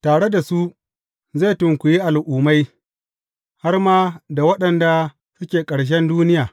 Tare da su zai tukwiyi al’ummai, har ma da waɗanda suke ƙarshen duniya.